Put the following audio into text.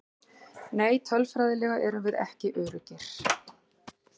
Nei tölfræðilega erum við ekki öruggir.